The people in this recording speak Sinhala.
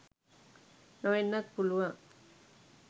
නොවෙන්නත් පුළුවන්.